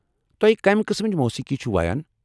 تو٘ہہِ كمہِ قٕسمٕچ موسیقی چُھ وایان ؟